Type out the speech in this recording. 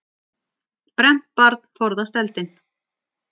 Brennt barn forðast eldinn.